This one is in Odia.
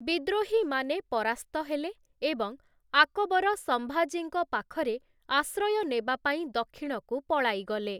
ବିଦ୍ରୋହୀମାନେ ପରାସ୍ତ ହେଲେ ଏବଂ ଆକବର ସମ୍ଭାଜୀଙ୍କ ପାଖରେ ଆଶ୍ରୟ ନେବା ପାଇଁ ଦକ୍ଷିଣକୁ ପଳାଇଗଲେ ।